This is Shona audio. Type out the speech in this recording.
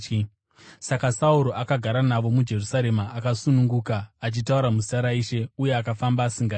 Saka Sauro akagara navo muJerusarema akasununguka, achitaura muzita raIshe uye akafamba asingatyi.